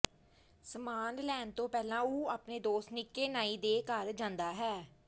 ਸਾਮਾਨ ਲੈਣ ਤੋਂ ਪਹਿਲਾਂ ਉਹ ਆਪਣੇ ਦੋਸਤ ਨਿੱਕੇ ਨਾਈ ਦੇ ਘਰ ਜਾਂਦਾ ਹੈ